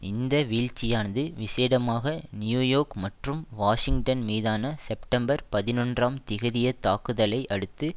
இந்த வீழ்ச்சியானது விசேடமாக நியூயோக் மற்றும் வாஷிங்டன் மீதான செப்டம்பர் பதினொன்றாம் திகதிய தாக்குதலை அடுத்து